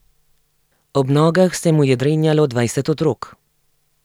Ob nogah se mu je drenjalo dvajset otrok.